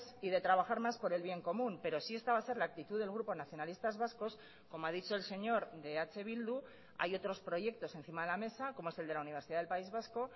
y de trabajar más por el bien común pero si esta va a ser la actitud del grupo nacionalistas vascos como ha dicho el señor de eh bildu hay otros proyectos encima de la mesa como es el de la universidad del país vasco